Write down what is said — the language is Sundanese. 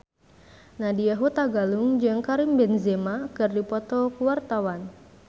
Nadya Hutagalung jeung Karim Benzema keur dipoto ku wartawan